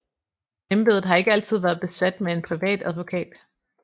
Embedet har ikke altid været besat med en privat advokat